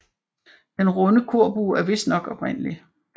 Den runde korbue er vistnok oprindelig